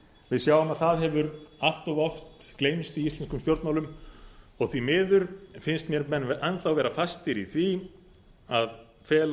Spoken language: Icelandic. við sjáum að það hefur allt of oft gleymst í íslenskum stjórnmálum og því miður finnst mér menn enn þá vera fastir í því að fela